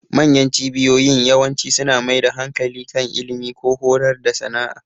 Manyan cibiyoyin yawanci suna mai da hankali kan ilimi, ko horar da sana'a.